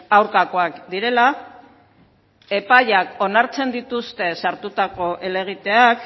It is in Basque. aurkakoak direla epaiak onartzen dituzte sartutako helegiteak